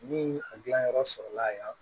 Ni a gilanyɔrɔ sɔrɔ la yan